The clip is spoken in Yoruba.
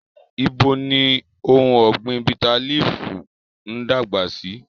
Ibo ni ohun ọ̀gbìn bitterleaf ń dàgbà sí?